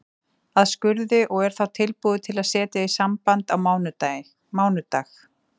að skurði, og er þá tilbúið til að setja í samband á mánudag.